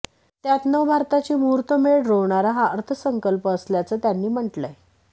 त्यात नव भारताची मुहूर्तमेढ रोवणारा हा अर्थसंकल्प असल्याचं त्यांनी म्हटलंय